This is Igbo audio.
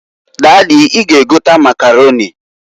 Dady, I ga egota Makaroni.